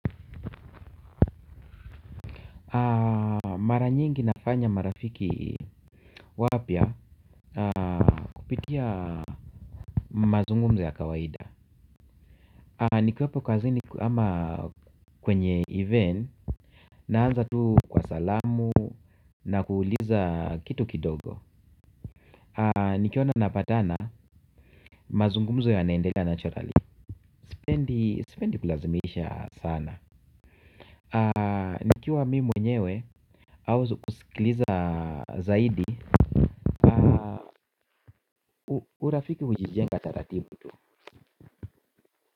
Mara nyingi nafanya marafiki wapya kupitia mazungumzo ya kawaida. Nikiwepo kazini ama kwenye event naanza tu kwa salamu na kuuliza kitu kidogo. Nikiona napatana mazungumzo yanaendelea naturally. Sipendi kulazimisha sana. Nikiwa mimi mwenyewe au kusikiliza zaidi urafiki hujijenga tatatibu tu.